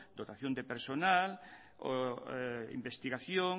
dotación de personal investigación